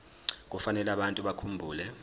kufanele abantu bakhumbule